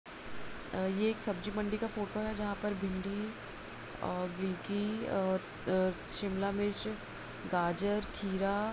अ ये एक सब्जीमंडी का फोटो है जहां पर भिंडी और गिलकी और अ शिमला मिर्च गाजर खीरा--